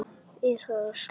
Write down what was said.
Er það sláandi há tala.